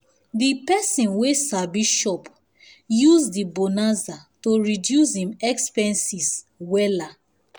the person wey sabi shop use the bonanza to reduce him expenses wella